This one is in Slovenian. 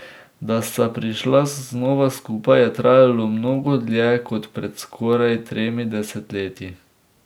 Da sta prišla znova skupaj, je trajalo mnogo dlje kot pred skoraj tremi desetletji.